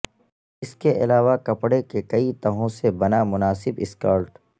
اس کے علاوہ کپڑے کے کئی تہوں سے بنا مناسب سکرٹ